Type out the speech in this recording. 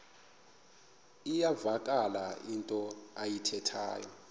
iyavakala into ayithethayo